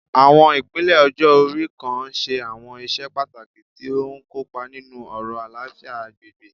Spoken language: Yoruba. Àwọn ipele ọjọ́-ori kan ń ṣe àwọn iṣẹ́ pàtàkì tí ó ń kópa nínú ọ̀rọ̀ àlàáfíà agbègbè